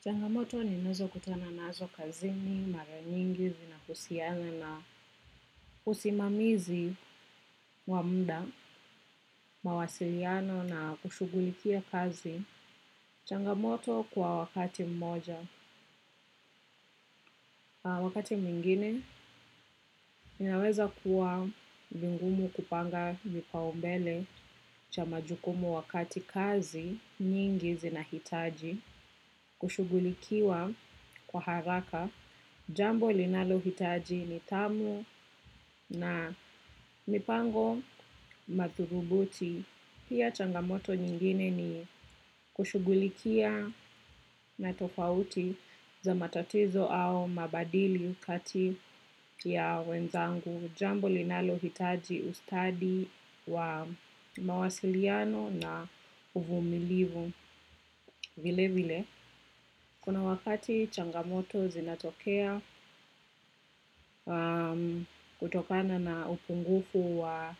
Changamoto ninazokutana nazo kazini, mara nyingi, zinahusiana na usimamizi wa mda, mawasiliano na kushughulikia kazi. Changamoto kwa wakati mmoja. Wakati mwingine, inaweza kuwa vingumu kupanga vipaombele cha majukumu wakati kazi nyingi zinahitaji. Kushughulikiwa kwa haraka jambo linalohitaji nitamu na mipango mathurubuti pia changamoto nyingine ni kushugulikia na tofauti za matatizo au mabadili kati ya wenzangu jambo linalohitaji ustadi wa mawasiliano na uvumilivu vile vile. Kuna wakati changamoto zinatokea kutokana na upungufu wa